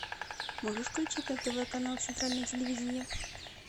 можешь включить на тв канал центральное телевидение